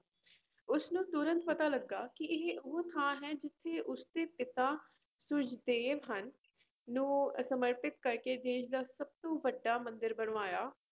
ਉਸਨੂੰ ਤੁਰੰਤ ਪਤਾ ਲੱਗਾ ਕਿ ਇਹ ਉਹ ਥਾਂ ਹੈ ਜਿੱਥੇ ਉਸਦੇ ਪਿਤਾ ਸੂਰਜ ਦੇਵ ਹਨ ਨੂੰ ਸਮਰਪਿਤ ਕਰਕੇ ਦੇਸ ਦਾ ਸਭ ਤੋਂ ਵੱਡਾ ਮੰਦਿਰ ਬਣਵਾਇਆ।